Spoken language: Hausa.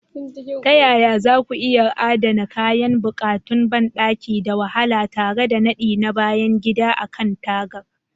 Ta yaya za ku iya adana kayan buƙatun banɗaki da wahala tare da nadi na bayan gida a kan taragar?